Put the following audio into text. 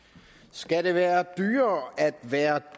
skal det være dyrere at være